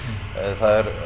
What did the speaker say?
það er